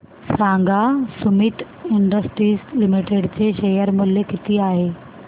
सांगा Sumeet industries limited चे share मूल्य किती आहे